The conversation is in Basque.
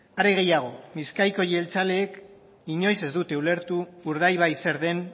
hare gehiago bizkaiko jeltzaleek inoiz ez dute ulertu urdaibai zer den